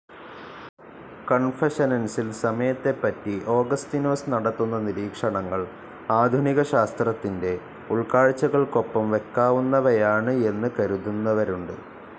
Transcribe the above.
കൺഫഷൻസിൽ സമയത്തെപ്പറ്റി ഓഗസ്തിനോസ് നടത്തുന്ന നിരീക്ഷണങ്ങൾ ആധുനിക ശാസ്ത്രത്തിൻ്റെ ഉൾക്കാഴ്ചകൾക്കൊപ്പം വയ്ക്കാവുന്നവയാണ് എന്ന് കരുതുന്നവരുണ്ട്.